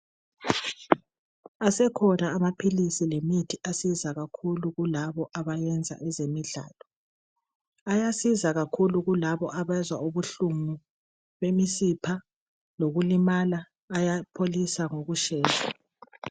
Asekhona amaphilisi lanye lemithi esiza labo abenza ezemidlalo. Ayasiza kakhulu kulabo abezwa ubuhlungu bemisipha lokulimala ayapholisa ngokushesha.